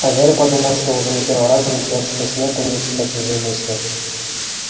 а гарри подумал он уже не первый раз замечает что снегг умеет читать чужие мысли